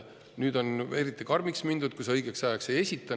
Nüüd on eriti karmiks mindud, riik juba hirmutab.